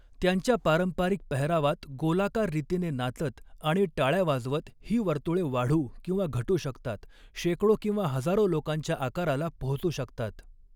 त्यांच्या पारंपरिक पेहरावात गोलाकार रीतीने नाचत आणि टाळ्या वाजवत ही वर्तुळे वाढू किंवा घटू शकतात, शेकडो किंवा हजारो लोकांच्या आकाराला पाेहोचू शकतात.